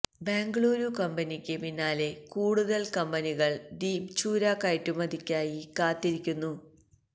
ബെംഗളൂരു കമ്പനിക്ക് പിന്നാലെ കൂടുതല് കമ്പനികള് ദ്വീപ് ചൂര കയറ്റുമതിക്കായി കാത്തിരിക്കുന്നു